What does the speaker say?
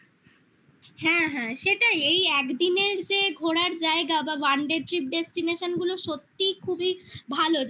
হ্যাঁ হ্যাঁ সেটাই এই একদিনের যে ঘোরার জায়গা বা oneday trip destination গুলো সত্যিই খুবই ভালো